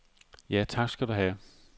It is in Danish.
Ja, tak skal du ha.